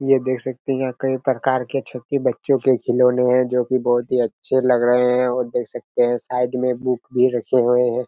ये देख सकते है यहाँ कई प्रकार के छोटे बच्चो के खिलोने है जोकि बहुत ही अच्छे लग रहे है और देख सकते है साइड में बुक भी रखे हुए है।